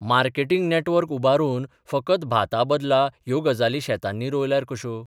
Marketing network उबारून फकत भाताबदला ह्यो गजाली शेतांनी रोवल्यार कश्यो?